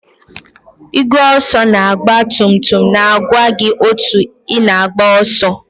Igwe ọsọ na ọgba tum tum na-agwa gị otu ị na-agba ọsọ.